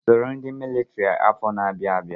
Soro ndị militiri afọ na-abịa abịa!